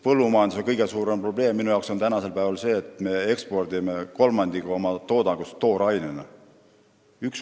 Põllumajanduse kõige suurem probleem on minu jaoks tänasel päeval see, et me ekspordime ühe kolmandiku oma toodangust toorainena.